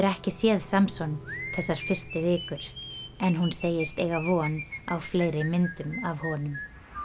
ekki séð Samson þessar fyrstu vikur en hún segist eiga von á fleiri myndum af honum